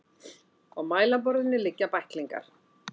Á mælaborðinu liggja bæklingar.